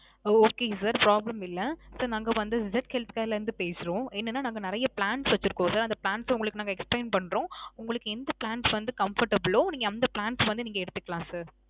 ஓ. Okay sir. problem இல்ல. sir நாங்க வந்து Z Health Care ல இருந்து பேசுறோம். என்னனா நாங்க நிறைய plans வச்சிருக்கோம் sir. அந்த plans அ உங்களுக்கு நாங்க explain பண்றோம். உங்களுக்கு எந்த plans வந்து comfortable ஓ, நீங்க அந்த plans வந்து நீங்க எடுத்துக்கலாம் sir.